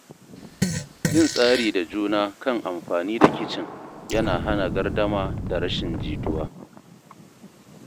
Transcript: Yin tsari da juna kan amfani da kicin yana hana gardama da rashin jituwa.